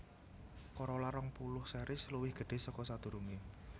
Corolla rong puluh series luwih gedhé saka sadurungé